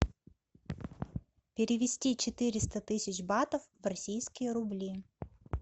перевести четыреста тысяч батов в российские рубли